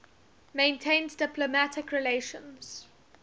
maintains diplomatic relations